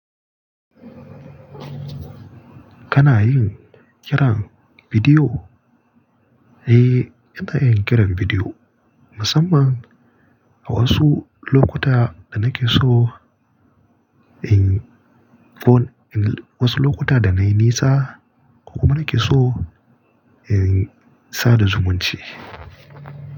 Kana yin kiran bidiyo? Eh, ina yin kiran bidiyo musamman a wasu lokuta da nake so in phone, wasu lokuta da nayi nisa kuma nake so in sada zumunci.